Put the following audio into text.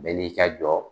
Bɛɛ n'i ka jɔ